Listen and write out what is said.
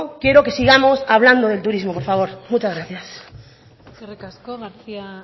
quiero que sigamos hablando del turismo por favor muchas gracias eskerrik asko garcía